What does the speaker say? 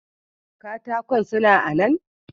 Katakan suna a nan.